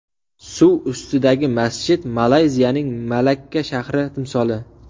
Suv ustidagi masjid Malayziyaning Malakka shahri timsoli .